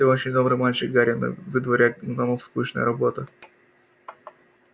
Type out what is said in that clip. ты очень добрый мальчик гарри но выдворять гномов скучная работа